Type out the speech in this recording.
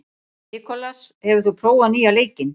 Nikolas, hefur þú prófað nýja leikinn?